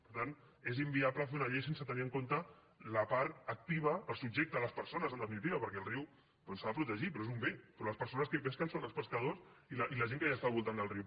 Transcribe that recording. per tant és inviable fer una llei sense tenir en compte la part activa els subjectes les persones en definitiva perquè el riu doncs s’ha de protegir però és un bé però les persones que hi pesquen són els pescadors i la gent que està al voltant del riu